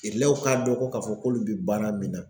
Irilɛw k'a dɔn ko ka fɔ k'olu bɛ baara min na.